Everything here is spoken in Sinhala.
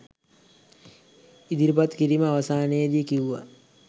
ඉදිරිපත් කිරීම අවසානයේදී කිව්වා